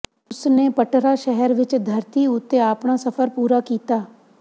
ਉਸ ਨੇ ਪਟਰਾ ਸ਼ਹਿਰ ਵਿਚ ਧਰਤੀ ਉੱਤੇ ਆਪਣਾ ਸਫ਼ਰ ਪੂਰਾ ਕੀਤਾ